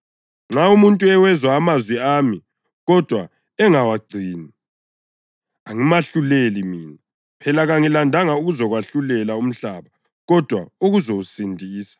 Nxa umuntu ewezwa amazwi ami kodwa angawagcini, angimahluleli mina. Phela kangilandanga ukuzowahlulela umhlaba kodwa ukuzowusindisa.